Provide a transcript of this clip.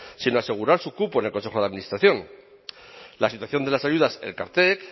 sino asegurar su cupo en el consejo de administración la situación de las ayudas elkartek